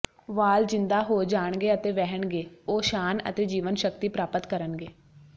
ਵਾਲ ਜ਼ਿੰਦਾ ਹੋ ਜਾਣਗੇ ਅਤੇ ਵਹਿਣਗੇ ਉਹ ਸ਼ਾਨ ਅਤੇ ਜੀਵਨਸ਼ਕਤੀ ਪ੍ਰਾਪਤ ਕਰਨਗੇ